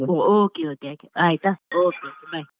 Okay okay ಆಯ್ತಾ okay okay bye.